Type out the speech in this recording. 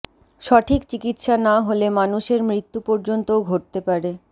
সঠিক চিকিৎসা না হলে মানুষের মৃত্যু পর্যন্তও ঘটতে পারে